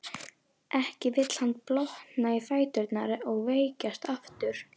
Ekki vill hann blotna í fæturna og veikjast aftur.